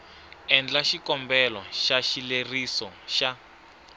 endla xikombelo xa xileriso xa